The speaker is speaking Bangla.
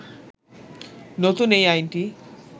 নতুন এই আইনটি